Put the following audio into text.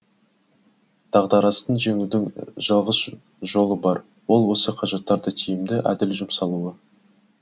дағдарысты жеңудің жалғыз жолы бар ол осы қаражаттарды тиімді әділ жұмсалуы